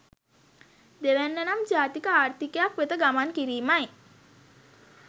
දෙවැන්න නම් ජාතික ආර්ථිකයක් වෙත ගමන් කිරීමයි.